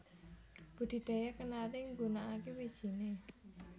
Budidaya kenari nggunakaké wijiné